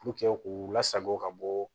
k'u lasago ka bɔ